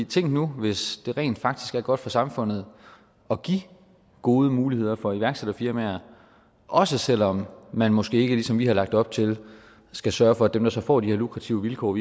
tænk nu hvis det rent faktisk er godt for samfundet at give gode muligheder for iværksætterfirmaer også selv om man måske ikke ligesom vi har lagt op til skal sørge for at dem der så får de her lukrative vilkår